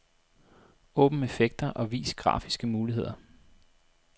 Åbn effekter og vis grafiske muligheder.